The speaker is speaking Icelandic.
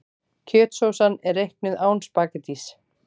Kjötsósan er reiknuð án spaghettís.